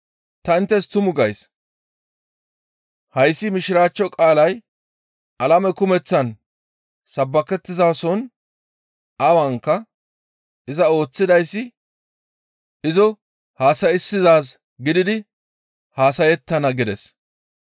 Ta inttes tumu gays; hayssi Mishiraachcho qaalay alame kumeththaan sabbakettizason awanka iza ooththidayssi izo hassa7issizaaz gididi haasayettana» gides.